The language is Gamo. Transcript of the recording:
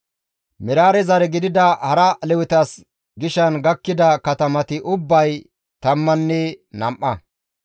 Meraarey zare gidida hara Lewetas gishan gakkida katamati ubbay tammanne nam7a.